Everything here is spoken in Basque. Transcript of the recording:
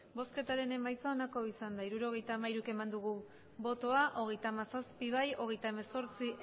emandako botoak hirurogeita hamairu bai hogeita hamazazpi ez hogeita hemezortzi